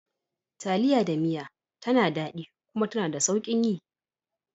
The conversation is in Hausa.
Taliya da miya tana daɗi kuma tana da sauƙin yi.